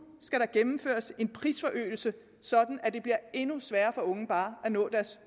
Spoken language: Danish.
skal der gennemføres en prisforøgelse så det bliver endnu sværere for unge bare at nå deres